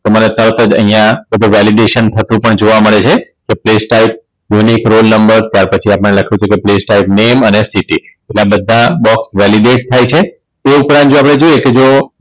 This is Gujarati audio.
તમે અત્યારે તો અહીંયા તો તો Validation થતું જોવા પણ મળે છે કે TextileUnique Roll numre ત્યાર પછી આપણે લખ્યું Playstyle name અને city આ બધા box Validate થાય છે તે ઉપરાંત જો આપણે જોઈએ કે જો